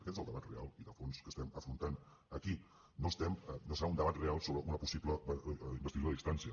aquest és el debat real i de fons que estem afrontant aquí no serà un debat real sobre una possible investidura a distància